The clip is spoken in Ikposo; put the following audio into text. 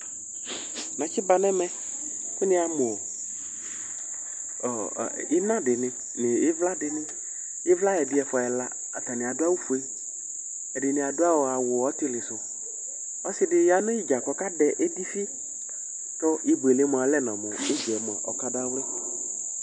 Natsɩ ba nɛmɛ kʋ nɩyamʋ ɔɔ, ɩna dɩnɩ nʋ ɩvla dɩnɩ; ɩvla ɛdɩ, ɛfʋa, ɛla atanɩ adʋ awʋ fue, ɛdɩnɩ adʋ awʋ ɔtɩlɩ sʋƆsɩ dɩ ya n 'ɩdza kɔka dɛ edifɩ Kɔ ibuele mʋa, ɔlɛ nɔ mʋ ɩdza yɛ mʋa ɔka dawlɩ